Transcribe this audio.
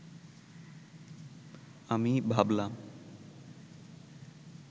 আমি ভাবলাম